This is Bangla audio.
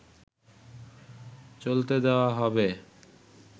চলতে দেয়া হবে